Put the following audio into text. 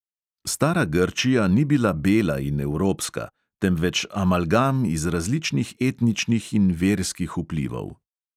Stara grčija ni bila bela in evropska, temveč amalgam iz različnih etničnih in verskih vplivov.